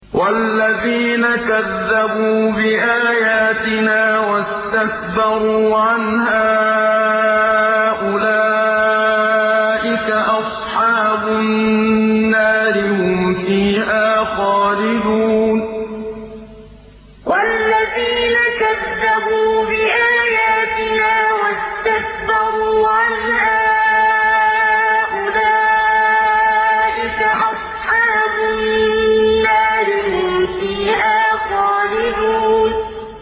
وَالَّذِينَ كَذَّبُوا بِآيَاتِنَا وَاسْتَكْبَرُوا عَنْهَا أُولَٰئِكَ أَصْحَابُ النَّارِ ۖ هُمْ فِيهَا خَالِدُونَ وَالَّذِينَ كَذَّبُوا بِآيَاتِنَا وَاسْتَكْبَرُوا عَنْهَا أُولَٰئِكَ أَصْحَابُ النَّارِ ۖ هُمْ فِيهَا خَالِدُونَ